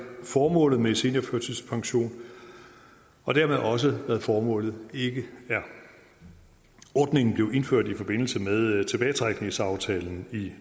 formålet med seniorførtidspension og dermed også hvad formålet ikke er ordningen blev indført i forbindelse med tilbagetrækningsaftalen i